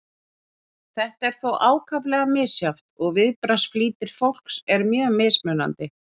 þetta er þó ákaflega misjafnt og viðbragðsflýtir fólks er mjög mismunandi